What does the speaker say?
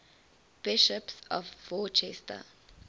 bishops of worcester